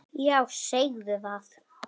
Já, segðu það!